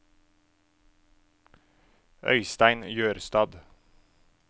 Øistein Jørstad